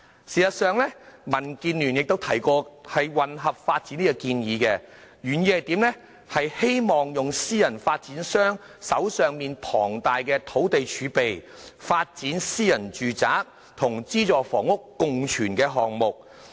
事實上，民建聯亦曾提出"混合發展"建議，原意是希望利用私人發展商手上龐大的土地儲備，發展私人住宅與資助房屋共存的項目。